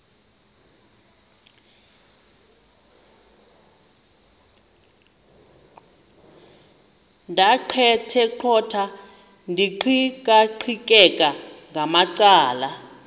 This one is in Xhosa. ndaqetheqotha ndiqikaqikeka ngamacala